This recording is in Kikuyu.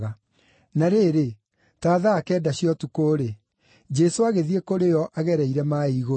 Na rĩrĩ, ta thaa kenda cia ũtukũ-rĩ, Jesũ agĩthiĩ kũrĩ o agereire maaĩ igũrũ.